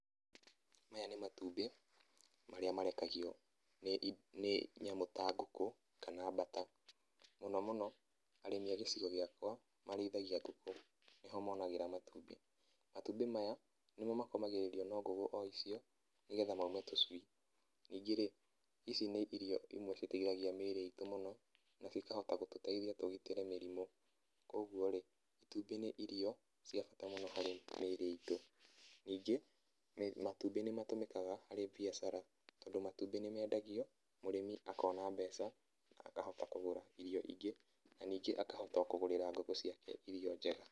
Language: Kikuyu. Maya nĩ matumbĩ marĩa marekagio nĩ ĩ, nyamũ ta ngũkũ, kana mbata. Mũno mũno, arĩmi a gĩcigo gĩakwa marĩithagia ngũkũ. Nĩho monagĩra matumbĩ. Matumbĩ maya, nĩmo makomagĩrĩrio no ngũkũ o icio nĩgetha maume tũcui. Ningĩ-rĩ, ici nĩ irio imwe citeithagia mĩrĩ itũ mũno, nacio ikahota gũtũteithia tũgitĩre mĩrimũ. Koguo-rĩ, itumbĩ nĩ irio cia bata mũno harĩ mĩrĩ itũ. Ningĩ, matumbĩ nĩmatũmĩkaga harĩ biacara. Tondũ matumbĩ nĩmendagio, mũrĩmi akona mbeca na akahota kũgũra irio ingĩ. Na ningĩ akahota o kũgũrĩra ngũkũ ciake irio njega.